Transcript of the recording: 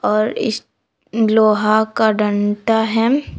और लोहा का डंडा है।